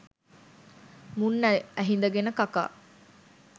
මුන් ඇහිඳගෙන කකා.